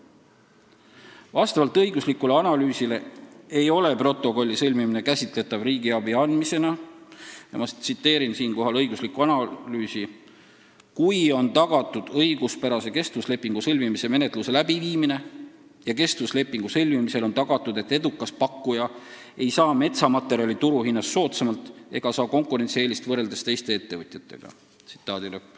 Vastavalt õiguslikule analüüsile ei ole protokolli sõlmimine käsitatav riigiabi andmisena – ma tsiteerin siinkohal õiguslikku analüüsi –, kui on tagatud õiguspärase kestvuslepingu sõlmimise menetluse läbiviimine ja kestvuslepingu sõlmimisel on tagatud, et edukas pakkuja ei saa metsamaterjali turuhinnast soodsamalt ega saa konkurentsieelist võrreldes teiste ettevõtjatega.